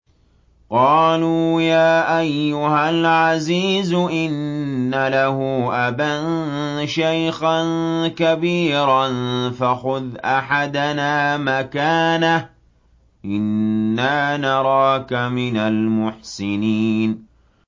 قَالُوا يَا أَيُّهَا الْعَزِيزُ إِنَّ لَهُ أَبًا شَيْخًا كَبِيرًا فَخُذْ أَحَدَنَا مَكَانَهُ ۖ إِنَّا نَرَاكَ مِنَ الْمُحْسِنِينَ